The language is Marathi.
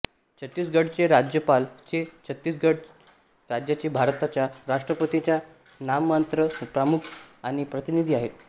छत्तीसगढचे राज्यपाल हे छत्तीसगढ राज्याचे भारताच्या राष्ट्रपतींचे नाममात्र प्रमुख आणि प्रतिनिधी आहेत